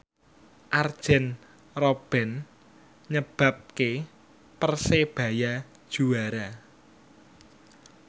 Arjen Robben nyebabke Persebaya juara